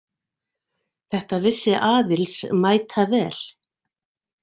Þetta vissi Aðils mætavel.